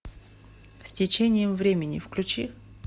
с течением времени включи